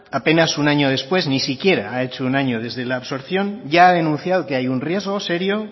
apenas un año después ni siquiera ha hecho un año desde la absorción ya ha denunciado que hay un riesgo serio